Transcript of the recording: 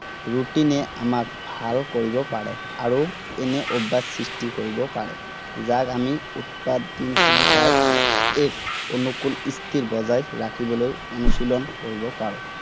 routine এ আমাক ভাল কৰিব পাৰে আৰু এনে অভ্যাস সৃষ্টি কৰিব পাৰে। যাক আমি উৎপাদনশীলতাৰ এক অনুকুল স্থিতি বজাই ৰাখিবলৈ অনুশীলন কৰিব পাৰো।